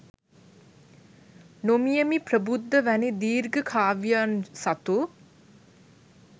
නොමියෙමි ප්‍රබුද්ධ වැනි දීර්ඝ කාව්‍යයන් සතු